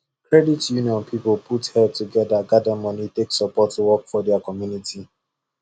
credit union people put head together gather money take support work for their community